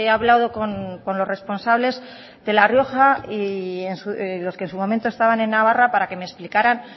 hablado con los responsables de la rioja con los que en su momento estaban en navarra para que me explicaran